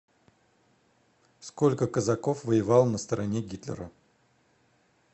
сколько казаков воевало на стороне гитлера